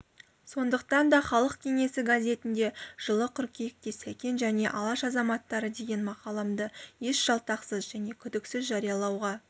сондықтан да халық кеңесі газетінде жылы қыркүйекте сәкен және алаш азаматтары деген мақаламды еш жалтақсыз және күдіксіз жариялауға